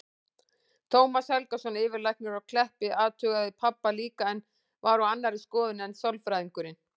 Tómas Helgason, yfirlæknir á Kleppi, athugaði pabba líka en var á annarri skoðun en sálfræðingurinn.